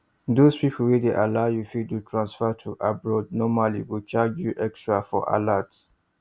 those people wey dey allow u fit do transfer to abroad normally go charge u extra for alert